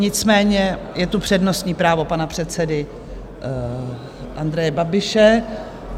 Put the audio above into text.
Nicméně je tu přednostní právo pana předsedy Andreje Babiše.